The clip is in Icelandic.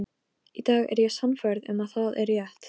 Það lýstist upp og um leið var talað til mín.